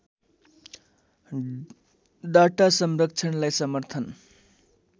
data संरक्षणलाई समर्थन